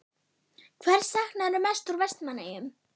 Hvers saknarðu mest úr Vestmannaeyjum?